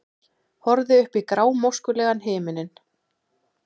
Horfði upp í grámóskulegan himininn.